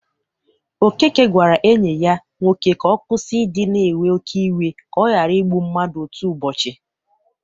Okeke gwara enyi ya nwoke ka ọ kwusi idị na ewe oke iwe ka ọ ghara ịgbụ mmadụ otu ụbọchị.